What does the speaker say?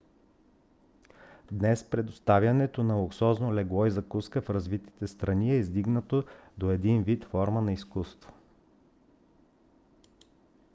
днес предоставянето на луксозно легло и закуска в развитите страни е издигнато до един вид форма на изкуство